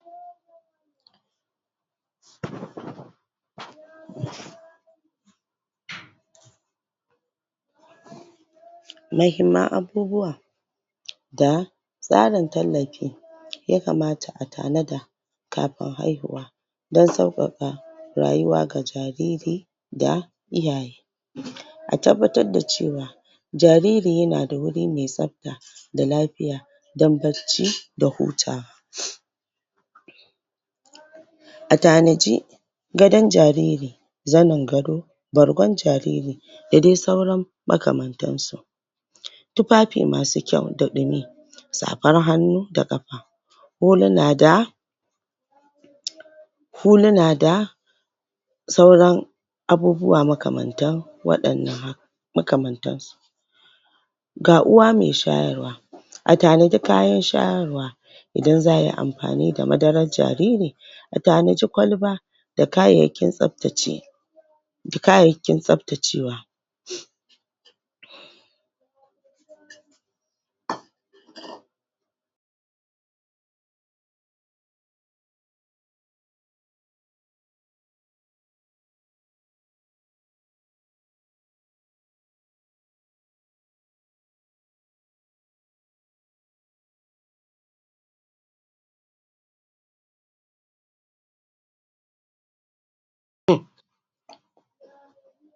??? muhimman abubawa da tsarin tallafi ya kamata a tanada kafin haihuwa don saukaka rayuwa ga jariri da iyaye a tabbatar da cewa jariri yana da waje mai tsafta da lafiya don bacci da hutawa a tanaji gadon jariri zanin gado bargon jariri da dai sauran maka mantansu tufafi masu kyau da ɗumi safar hannu da ƙafa huluna da huluna da sauran abubuwa makamantan wadannan makamantansu ga uwa mai shayarwa a tanadi kayan shayarwa idan za'a yi amfani da madarar jariri a tanaji kwalba da kayyakin tsaftace da kayyakin tsaftacewa?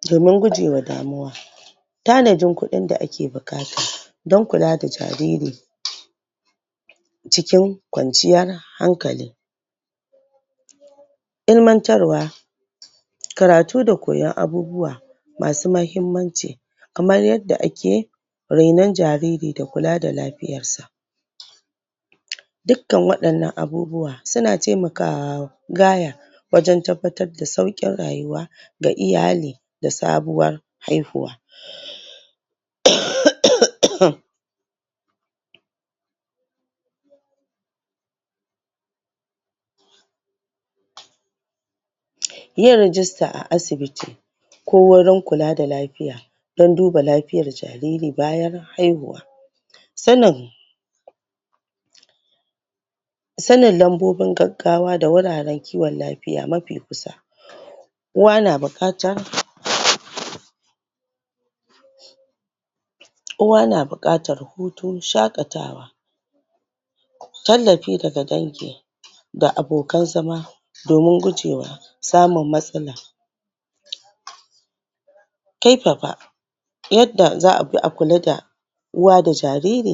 domin gujewa damuwa tanajin kudin da ake da bukata don kula da jariri cikin kwanciyar hankali ilimantarwa karatu da koyan abubawa masu muhimmanci kamar yadda ake renon jariri da kula da lafiyarsa dukan wadannan abubuwa suna temaka wa gaya wajen tabbatar da saukin rayuwa ga iyali da sabuwar haihuwa? um yin rijista a asibiti ko wurin kula da lafiya don duba lafiyar jariri bayan haihuwa sanin sanin lambobin gaggawa da wuraren kiwon lafiya mafi kusa uwa na bukata? uwa na bukatar hutu shakatawa tallafi daga dangi da abokan zama domin gujewa samun matsala? karfafa yadda za'a bi akula da uwa da jariri